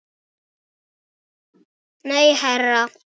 Nei, herra